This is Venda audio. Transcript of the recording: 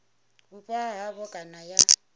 vhupo ha havho kana ya